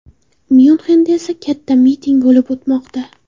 Myunxenda esa katta miting bo‘lib o‘tmoqda.